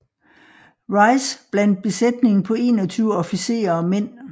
Rice blandt besætningen på 21 officerer og mænd